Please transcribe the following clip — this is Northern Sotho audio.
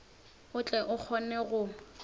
o tle o kgone go